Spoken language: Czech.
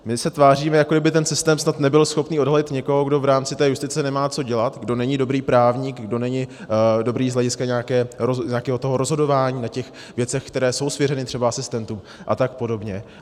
My se tváříme, jako by ten systém snad nebyl schopný odhalit někoho, kdo v rámci té justice nemá co dělat, kdo není dobrý právník, kdo není dobrý z hlediska nějakého rozhodování o těch věcech, které jsou svěřeny třeba asistentům, a tak podobně.